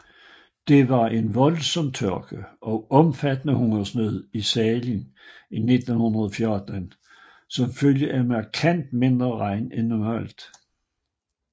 Der var en voldsom tørke og omfattende hungersnød i Sahel i 1914 som følge af markant mindre regn end normalt